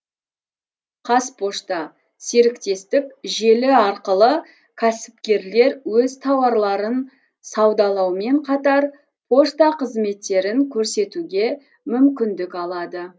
қазпошта серіктестік желі арқылы кәсіпкерлер өз тауарларын саудалаумен қатар пошта қызметтерін көрсетуге мүмкіндік алады